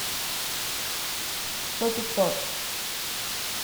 сто пятьсот